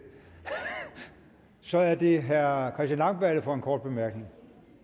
så er det herre langballe for en kort bemærkning